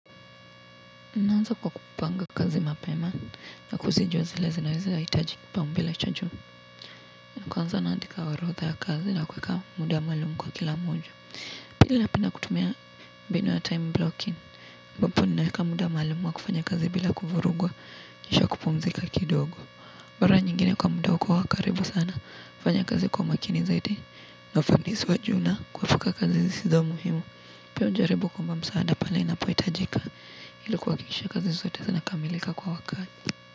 Naanza kwa kupanga kazi mapema na kuzijua zile zinaweza hitaji kipau mbele cha juu. Kwanza naandika orodha ya kazi na kuweka muda maalumu kwa kila moja. Pili napenda kutumia binu ya time blocking. aMbapo naweka muda maalumu wa kufanya kazi bila kuvurugwa, kisha kupumzika kidogo. Mara nyingine kwa muda wako wa karibu sana, fanya kazi kwa makini zaidi, na fanisi wa juu na, kuepuka kazi zisizo muhimu. Pia najaribu kuomba msaada pale inapohitajika ili kuhakikisha kazi zote zinakamilika kwa wakati.